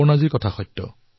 অপৰ্ণাজীৰ কথা শুদ্ধ